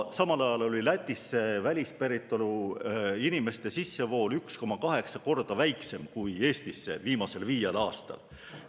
Samal ajal oli Lätis välispäritolu inimeste sissevool 1,8 korda väiksem kui Eestis viimasel viiel aastal.